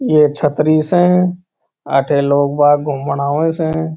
ये छतरी स इथे लोग बाग़ घूम बाणे स।